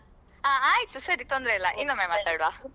ಹಾ ಆಯಿತು ಸರಿ ತೊಂದ್ರೆ ಇಲ್ಲ ಇನ್ನೊಮ್ಮೆ ಮಾತಾಡ್ವ